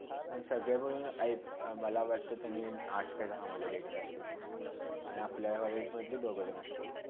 मग सगळ्याभरुण आयाक मला वाटते तरीपण आठ किवा दहा मुले घेतले असतील आणि मग अपल्या वर्गतील दोन घेतले असतील.